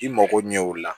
I mago ɲɛ o la